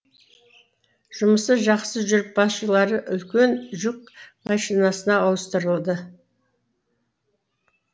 жұмысы жақсы жүріп басшылары үлкен жүк машинасына ауыстырылды